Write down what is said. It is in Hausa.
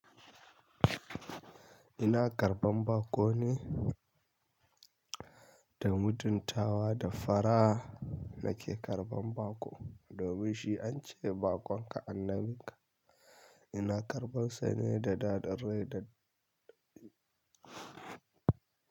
Ina karɓan baƙo ne, da mutuntawa da fara'a nake karɓan baƙo. Domin shi an ce baƙon ka annabin ka. Ina karɓan sane da da dare da dare.